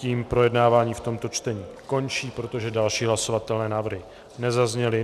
Tím projednávání v tomto čtení končí, protože další hlasovatelné návrhy nezazněly.